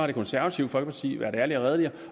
det konservative folkeparti været ærlige og redelige